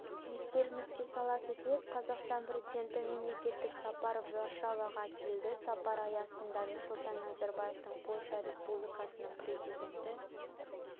естеріңізге сала кетейік қазақстан президенті мемлекеттік сапармен варшаваға келді сапар аясында нұрсұлтан назарбаевтың польша республикасының президенті